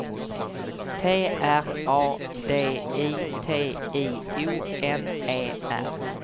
T R A D I T I O N E R